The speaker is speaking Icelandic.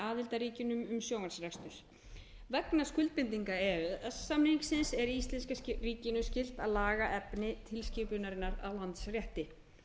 aðildarríkjunum í sjónvarpsrekstur vegna skuldbindinga e e s samningsins er íslenska ríkinu skylt að laga efni nýskipunarinnar á landsrétti